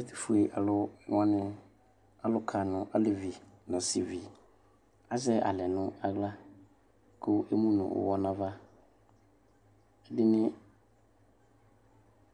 Ɛtʋfue alʋ wani alʋka nʋ alevi nʋ asivi azɛ alɛ nʋ aɣla kʋ emʋnʋ ʋwɔ nʋ ava